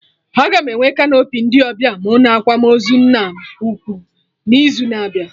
Aga m enwe canopy ndị ọbịa mụ na akwamozu nna m ukwu n'izu na-abịa